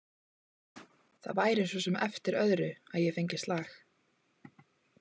Það væri svo sem eftir öðru að ég fengi slag.